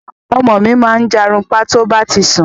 Ọmọ mi máa ń jàrunpa to bá ti ń sún